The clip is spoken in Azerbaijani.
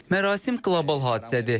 Mərasim qlobal hadisədir.